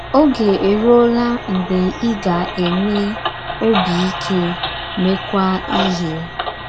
Oge erụọla mgbe ị ga - enwe “ ọbi ike, meekwa ihe. ”